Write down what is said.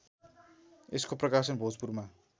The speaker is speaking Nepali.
यसको प्रकाशन भोजपुरमा